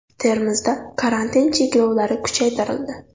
Termizda karantin cheklovlari kuchaytirildi.